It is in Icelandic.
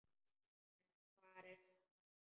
En hvar var Stína?